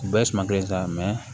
U bɛɛ suma kelen sa